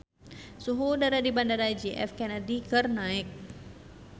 Suhu udara di Bandara J F Kennedy keur naek